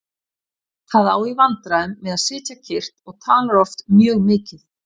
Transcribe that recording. Það á í vandræðum með að sitja kyrrt og talar oft mjög mikið.